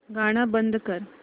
गाणं बंद कर